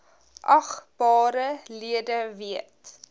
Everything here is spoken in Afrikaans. agbare lede weet